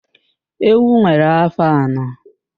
Ewu nwere áfó anọ